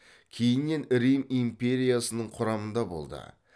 кейіннен рим империясының құрамында болды